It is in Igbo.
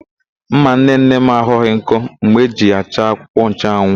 Ḿmà nnenne m aghọghị nkọ mgbe m jiri ya chaa akwụkwọnchụanwụ.